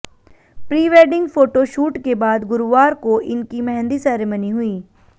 prewedding photoshoot के बाद गुरुवार को इनकी मेहंदी सेरेमनी हुई